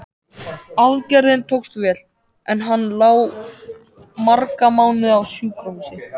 Aðgerðin tókst vel, en hann lá marga mánuði á sjúkrahúsinu.